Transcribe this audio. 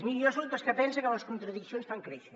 miri jo soc dels que pensa que les contradiccions fan créixer